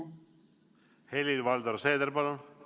Helir-Valdor Seeder, palun!